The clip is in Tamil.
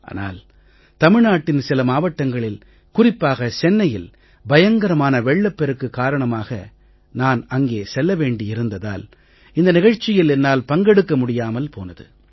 ஆனால் தமிழ்நாட்டின் சில மாவட்டங்களில் குறிப்பாக சென்னையில் பயங்கரமான வெள்ளப்பெருக்கு காரணமாக நான் அங்கே செல்ல வேண்டி இருந்ததால் இந்த நிகழ்ச்சியில் என்னால் பங்கெடுக்க முடியாமல் போனது